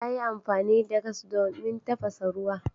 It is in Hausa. Ta yi amfani da gas domin tafasa ruwa.